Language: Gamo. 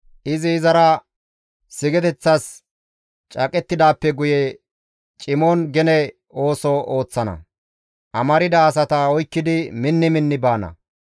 Izi izara sigeteththas caaqettidaappe guye cimon gene ooso ooththana; amarda asata oykkidi minni minni baana.